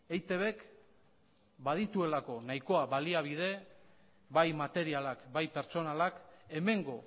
eitbk badituelako nahikoa baliabide bai materialak bai pertsonalak hemengo